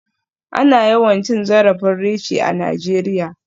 Ana yawan cin zarafin Richie a Najeriya.